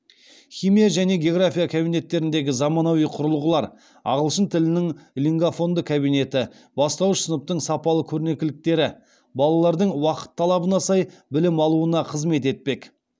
химия және география кабинеттеріндегі заманауи құрылғылар ағылшын тілінің лингафонды кабинеті бастауыш сыныптың сапалы көрнекіліктері балалардың уақыт талабына сай білім алуына қызмет етпек